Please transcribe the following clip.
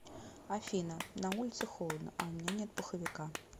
афина на улице холодно а у меня нет пуховика